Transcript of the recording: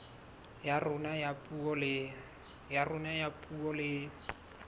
ya rona ya puo le